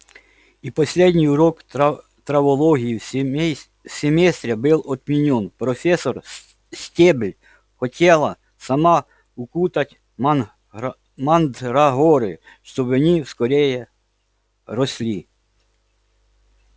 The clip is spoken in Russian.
и последний урок травологии в семестре был отменён профессор стебль хотела сама укутать мандрагоры чтобы они скорее росли